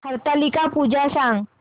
हरतालिका पूजा सांग